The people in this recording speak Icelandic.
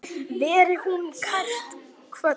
Veri hún kært kvödd.